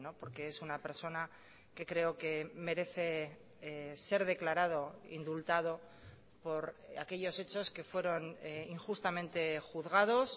porque es una persona que creo que merece ser declarado indultado por aquellos hechos que fueron injustamente juzgados